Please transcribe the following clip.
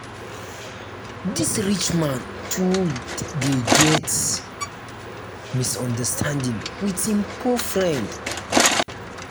dis rich man too dey get misunderstanding wit im poor friend.